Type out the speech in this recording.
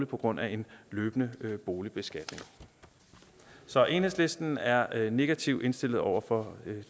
på grund af en løbende boligbeskatning så enhedslisten er er negativt indstillet over for